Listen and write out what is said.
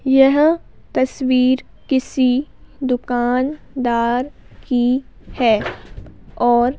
यह तस्वीर किसी दुकानदार की है और--